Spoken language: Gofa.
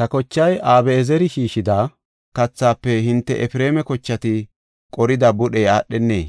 Ta kochay Abi7ezeri shiishida kathaafe hinte Efreema kochati qorida budhey aadhenee?